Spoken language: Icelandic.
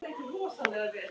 Ef til vill!